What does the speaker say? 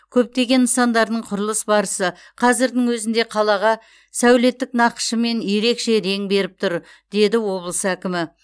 көптеген нысандардың құрылыс барысы қазірдің өзінде қалаға сәулеттік нақышымен ерекше рең беріп тұр деді облыс әкімі